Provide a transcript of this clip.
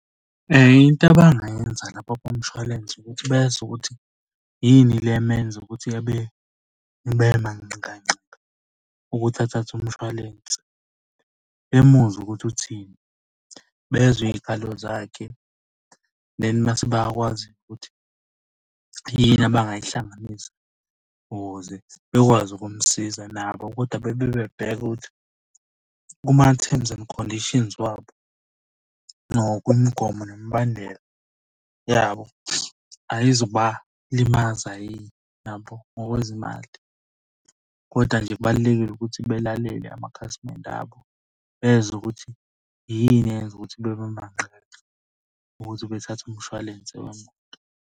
Into abangayenza labo bomshwalense ukuthi bezwe ukuthi yini le emenza ukuthi abe bemanqikanqika ukuthi athathe umshwalense. Bemuzwe ukuthi uthini, bezwe iy'khalo zakhe, then mase bayakwazi ukuthi yini abangayihlanganisa ukuze bekwazi ukumsiza nabo kodwa bebe bebheka ukuthi kuma-terms and conditions wabo, nokuyimigomo nemibandela yabo. Ayizukubalimaza yini yabo ngokwezimali, koda nje kubalulekile ukuthi belalele amakhasimende abo, bezwe ukuthi yini eyenza ukuthi bebe manqikanqika ukuthi bethathe umshwalense wemoto.